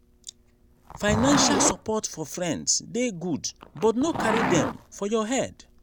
financial support for friends dey good but no carry dem for your head.